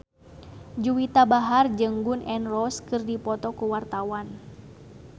Juwita Bahar jeung Gun N Roses keur dipoto ku wartawan